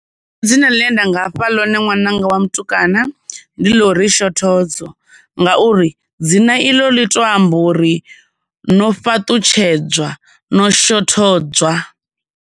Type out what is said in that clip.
Dzina ḽine nda ngafha ḽone ṅwananga wa mutukana ndi ḽa uri Shothodzo, ngauri dzina i ḽo ḽi to amba uri no fhaṱutshedza, no shothodzwa.